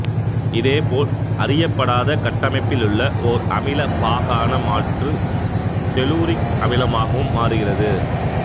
இதேபோல அறியப்படாத கட்டமைப்பிலுள்ள ஓர் அமிலப் பாகான மாற்று தெலூரிக் அமிலமாகவும் மாறுகிறது